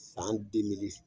San